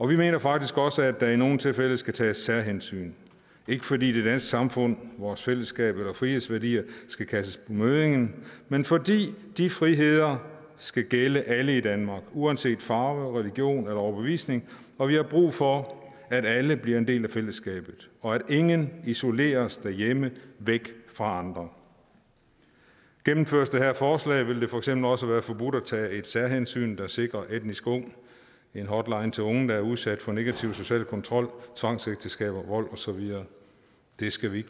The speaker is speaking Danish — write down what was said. vi mener faktisk også at der i nogle tilfælde skal tages særhensyn ikke fordi det danske samfund vores fællesskab og frihedsværdier skal kastes på møddingen men fordi de friheder skal gælde alle i danmark uanset farve religion eller overbevisning og vi har brug for at alle bliver en del af fællesskabet og at ingen isoleres derhjemme væk fra andre gennemføres det her forslag vil det for eksempel også være forbudt at tage et særhensyn der sikrer etnisk ung en hotline til unge der er udsat for negativ social kontrol tvangsægteskaber vold og så videre det skal vi